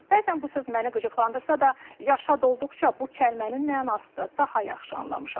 Bəzən bu söz məni qıcıqlandırsa da, yaşa dolduqca bu kəlmənin mənasını daha yaxşı anlamışam.